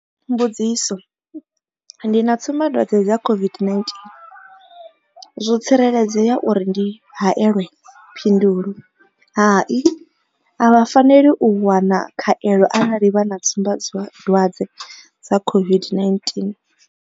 Mbudziso. Ndi na tsumba dwadze dza COVID-19, zwo tsireledzea uri ndi haelwe? Phindulo Hai. A vha faneli u wana khaelo arali vha na tsumbadwadze dza COVID-19.